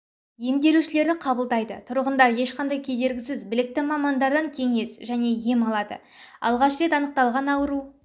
емделушілерді қабылдайды тұрғындар ешқандай кедергісіз білікті мамандардан кеңес және ем алады алғаш рет анықталған ауру